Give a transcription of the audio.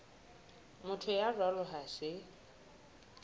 motho ya jwalo ha se